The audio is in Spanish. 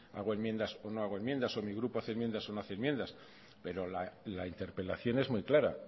hago enmiendas o no hago enmiendas o mi grupo hace enmiendas o no hace enmiendas pero la interpelación es muy clara